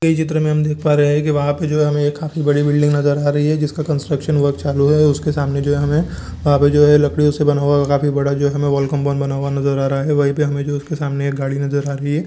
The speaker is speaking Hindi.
ये चित्र मे हम देख पा रहे हैकी वहां पे जो है हमे एक काफी बड़ी बिल्डिंग नजर आ रही है जिसका कन्स्ट्रक्शन वर्क चालू है सामने जो हैहमे वहा पे जो है लकड़ियों से बना हुआ काफी बड़ा जो है हमे नजर आ रहा है वही पे हमे उसके सामने के गाड़ी नजर आ रही है।